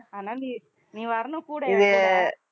அதனால நீ நீ வரணும் கூட என் கூட